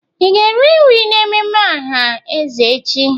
Ị ga-eri nri n'ememme aha eze echi?